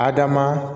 Adama